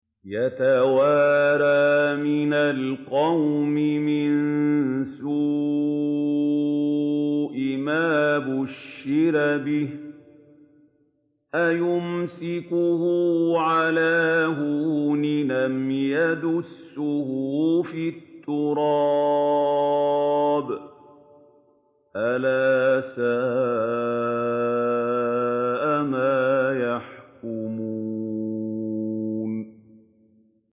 يَتَوَارَىٰ مِنَ الْقَوْمِ مِن سُوءِ مَا بُشِّرَ بِهِ ۚ أَيُمْسِكُهُ عَلَىٰ هُونٍ أَمْ يَدُسُّهُ فِي التُّرَابِ ۗ أَلَا سَاءَ مَا يَحْكُمُونَ